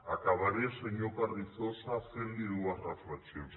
acabaré senyor carrizosa fent li dues reflexions